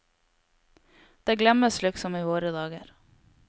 Det glemmes liksom i våre dager.